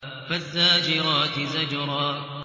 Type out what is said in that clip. فَالزَّاجِرَاتِ زَجْرًا